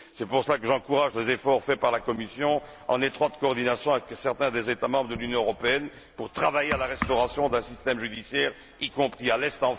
C'est pour cela que j'encourage les efforts consentis par la Commission en étroite collaboration avec certains des États membres de l'Union européenne pour travailler à la restauration d'un système judiciaire, y compris à l'est.